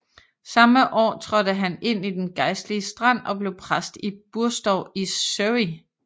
Samme år trådte han ind i den gejstlige stand og blev præst i Burstow i Surrey